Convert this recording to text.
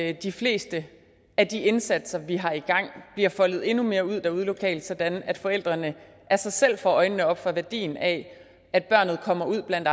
at de fleste af de indsatser vi har i gang bliver foldet endnu mere ud derude lokalt sådan at forældrene af sig selv får øjnene op for værdien af at barnet kommer ud blandt